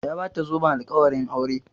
Ya bata zoben alƙawarin aure